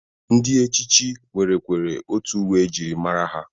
Ndị echichi nwerekwere otu uwe e jiri mara ha.